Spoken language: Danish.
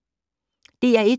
DR1